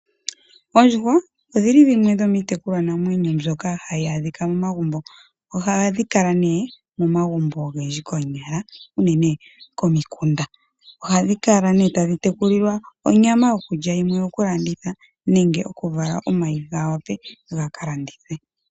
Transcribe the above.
Oondjuhwa odhili dhimwe dhomitekulwa naamwenyo mbyoka hadhi adhika mo magumbo nohadhi kala uunene momagumbo ogendji konyala unene komikunda. Oha dhi kala tadhi teku lilwa onyama yokulya noyimwe oyo ku landitha.